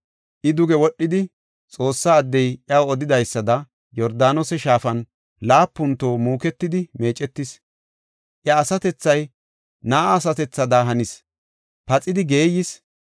I duge wodhidi, Xoossa addey iyaw odidaysada Yordaanose Shaafan laapun toho muuketidi meecetis. Iya asatethay na7a asatethada hanis; paxidi geeyis.